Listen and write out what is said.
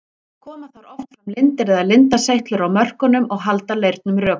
Koma þar oft fram lindir eða lindaseytlur á mörkunum og halda leirnum rökum.